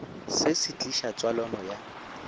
se se tliša tswalano ya